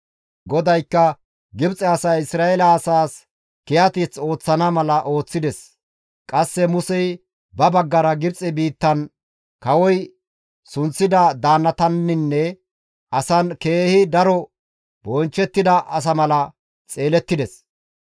GODAYKKA Gibxe asay Isra7eele asaas kiyateth ooththana mala ooththides. Qasse Musey ba baggara Gibxe biittan kawoy sunththida daannataninne asan keehi daro bonchchettida asa mala xeelettides.